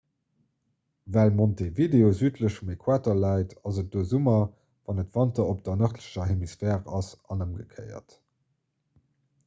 well montevideo südlech vum äquator läit ass et do summer wann et wanter op der nërdlecher hemisphär ass an ëmgekéiert